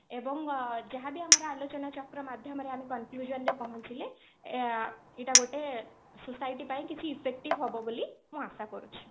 ଏବଂ ଅ ଯାହା ବି ଆମର ଆଲୋଚନା ଚକ୍ର ମାଧ୍ୟମରେ ଆମେ conclusion ରେ ପହଞ୍ଚିଲେ ଅ ଏଟା ଗୋଟେ society ପାଇଁ କିଛି effective ହବ ବୋଲି ମୁଁ ଆଶା କରୁଛି